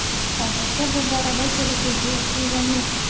Hozircha bu borada kelishuvga erishilgani yo‘q.